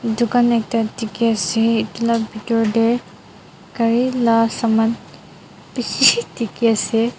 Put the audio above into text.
dukan ekta diki asae etu bitor dae karila saman bishiiii diki asae.